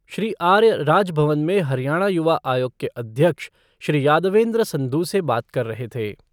श्री आर्य, राजभवन में हरियाणा युवा आयोग के अध्यक्ष, श्री यादवेन्द्र संधु से बात कर रहे थे।